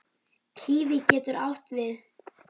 Kíví getur átti við